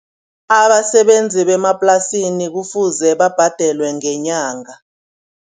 Abasebenzi bemaplasini kufuze babhadelwe ngenyanga.